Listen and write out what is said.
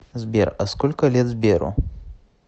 сбер а сколько лет сберу